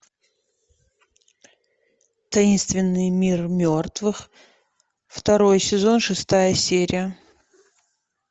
таинственный мир мертвых второй сезон шестая серия